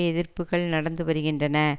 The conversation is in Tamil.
எதிர்ப்புக்கள் நடந்து வருகின்றன